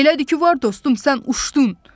Elədir ki, var dostum, sən uçdun.